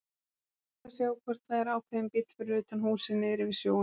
Rétt að sjá hvort það er ákveðinn bíll fyrir utan húsið niðri við sjóinn.